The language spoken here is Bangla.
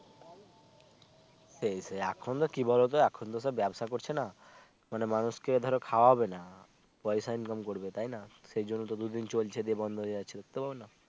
সেই সেই এখন কি বলও তো এখন তো ব্যবসা করছে না মানুষকে ধরো খাওয়াবে না পয়সা income করবে তাই না সেই জন্য দু দিন চলছে দিয়ে বন্ধ হয়ে যাচ্ছে বুঝতে পারলে না